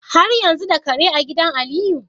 Har yanzu da Kare a gidan Aliyu?